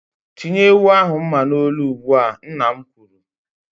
"Tinye ewu ahụ mma n'olu ugbu a!" Nna m kwuru.